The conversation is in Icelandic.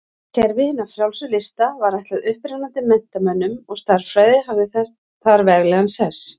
Kerfi hinna frjálsu lista var ætlað upprennandi menntamönnum og stærðfræði hafði þar veglegan sess.